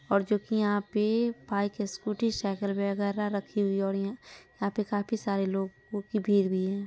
और जो की यहाँ पे बाइक स्कूटी साइकिल वगेरा रखी हुई है और यहाँ यहाँ पे काफी सारे लोगो की भीड़ भी है।